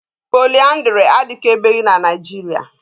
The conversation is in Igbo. Poliaandrị adịkabeghị na Naịjiria.